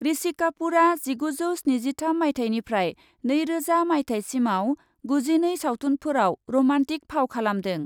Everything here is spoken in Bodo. ऋषि कापुरआ जिगुजौ स्निजिथाम माइथाइनिफ्राय नैरोजा मायथाइसिमाव गुजिनै सावथुनफोराव रमान्टिक फाव खालामदों ।